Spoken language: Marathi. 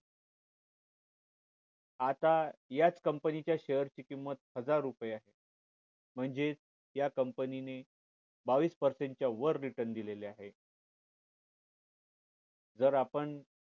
आता याच company च share ची किंमत हजार रुपय आहे म्हणजेच या company ने बावीस percent च वर return दिलेलं आहे जर आपण